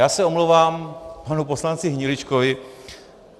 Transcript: Já se omlouvám panu poslanci Hniličkovi.